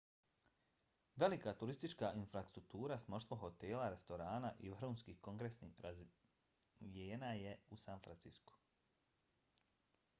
velika turistička infrastruktura s mnoštvo hotela restorana i vrhunskih kongresnih razvijena je u san franciscu